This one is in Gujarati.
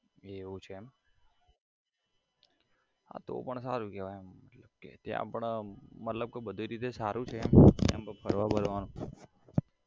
એવું છે એમ હા તો પણ સારું કેવાય એમ કે ત્યાં પણ મતલબ કી બધું રીતે સારો છે એમ જેમ કે ફરવા બરવાનું